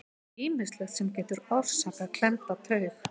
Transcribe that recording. Það er ýmislegt sem getur orsakað klemmda taug.